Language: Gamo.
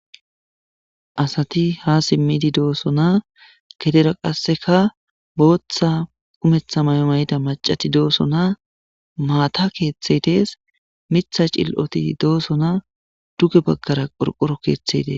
asati ha simmidi doosonaa gedera qasseka booththa kumetha mayo mayida macati doosonaa maata keeththey dees mitha cil7oti doosonaa duge bagkara qorqoro keeththe des